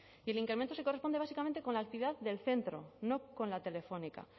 y el incremento se corresponde básicamente con la actividad del centro no con la telefónica